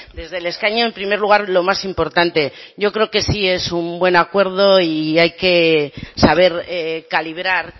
desde el escaño en primer lugar lo más importante yo creo que sí es un buen acuerdo y hay que saber calibrar